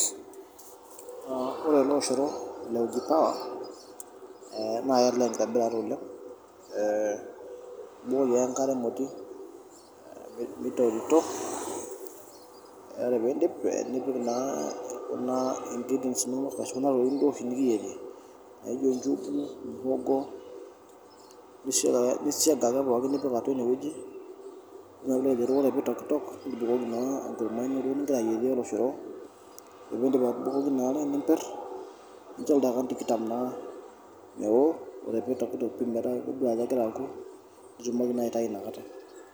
Ah ore ele oshoro le uji power eh naa kelelek ekitobirata oleng . Eh ibukoki ake enkare emoti mitokitok eh ore pee idip nipik naa, kuna ingredients inonok ashu kuna tokitin duo oshi nikiyierie naijo ichugu, muhongo nisiaga ake pooki nipik atua ine weuji nilo duo ore pee eitokitok nibukoki naa ekurma ino nigira ayierie oloshoro. Ore pee idip atupokoki nipir nicho ildaikani tikitam naa meoo ore pee itokitok piidol ajo kegira aaku nitumoki naa aitayu inakata.